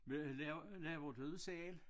Hvad laver laver du det selv?